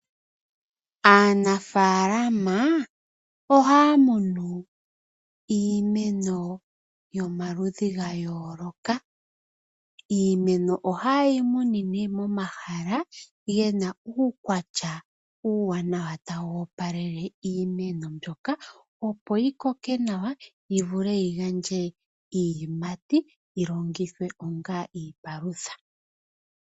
Aanafalama ohaa munu iimeno yomaludhi ga yooloka ,iimeno ohayeyi munu nee momahala gena uukwatya uuwanaw tawu opalele iimeno mbyoka opo yi koke nawa opo yi gandje eteyo kwaangoka eyi kuna.